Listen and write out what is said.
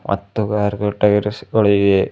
ಮತ್ತು ಕಾರ್ ಗಳ್ ಟಯಾರ್ಸ್ ಗಳು ಇವೆ.